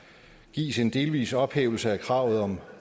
gives en delvis ophævelse af kravet om